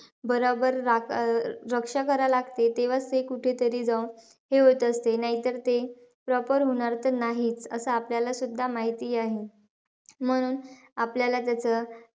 बरोबर रा अं रक्षा करावी लागते. तेव्हाचं ते कुठेतरी जाऊन हे होत असते. नाहीतर ते, proper होणार तर नाही असं आपल्यालासुद्धा माहिती आहे. म्हणून आपल्याला जसं,